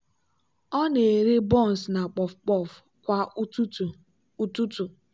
ọ na-ere buns na puff-puff kwa ụtụtụ. ụtụtụ.